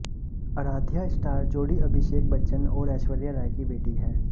Aradhya star जोड़ी अभिषेक बच्चन और ऐश्वर्या राय की बेटी है